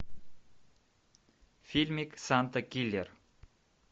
фильмик санта киллер